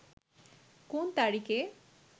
কোন তারিখে